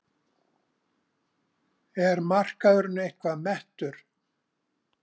Er markaðurinn eitthvað mettur?